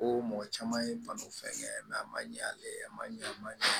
Ko mɔgɔ caman ye balo fɛngɛ ye a man ɲɛ ale ye a ma ɲɛ a ma ɲɛ